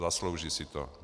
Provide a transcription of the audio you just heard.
Zaslouží si to.